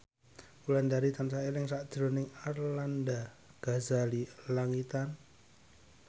Wulandari tansah eling sakjroning Arlanda Ghazali Langitan